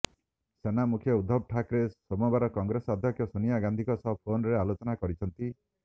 ସେନା ମୁଖ୍ୟ ଉଦ୍ଧବ ଠାକରେ ସୋମବାର କଂଗ୍ରେସ ଅଧ୍ୟକ୍ଷ ସୋନିଆ ଗାନ୍ଧୀଙ୍କ ସହ ଫୋନରେ ଆଲୋଚନା କରିଛନ୍ତି